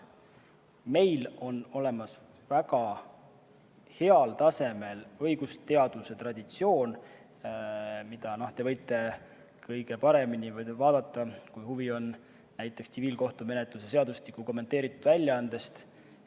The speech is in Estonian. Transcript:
Meil on olemas väga heal tasemel õigusteaduse traditsioon, mida te võite kõige paremini näha, kui huvi on, näiteks tsiviilkohtumenetluse seadustiku kommenteeritud väljaannet vaadates.